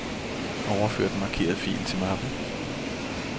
Overfør den markerede fil til mappen.